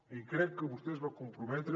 i crec que vostè es va comprometre